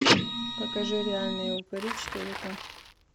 покажи реальные упыри четыре ка